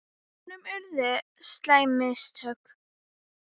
Honum urðu á slæm mistök.